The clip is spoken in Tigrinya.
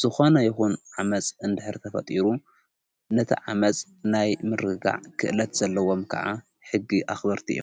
ዝኮነ ይኹን ዓመጽ እንድኅር ተፈጢሩ ነቲ ዓመጽ ናይ ምርጋዕ ኽእለት ዘለዎም ከዓ ሕጊ ኣኽበርቲ እዮ::